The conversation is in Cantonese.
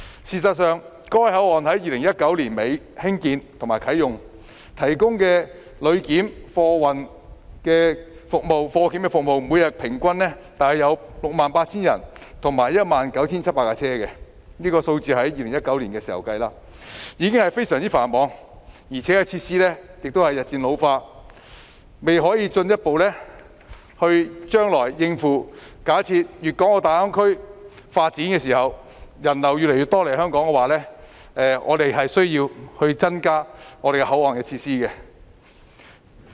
事實上，該口岸在1980年代末興建和啟用，提供旅檢及貨檢服務，每天平均約有 68,000 人次及 19,700 架次車輛進出——這是2019年的數字——已經非常繁忙，設施亦日漸老化，隨着粵港澳大灣區發展起來，越來越多人來港，該口岸將未能進一步應付有關的需要，因此，我們確實需要增加口岸的設施。